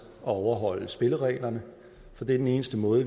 at overholde spillereglerne for det er den eneste måde